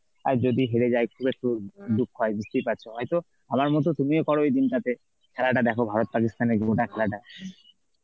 আর যদি হেরে যায় খুব একটু দুঃখ হয় বুঝতেই পারছো, হয়তো আমার মত তুমিও করো এই দিনটাতে খেলাটা দেখো ভারত পাকিস্তানের গোটা খেলাটা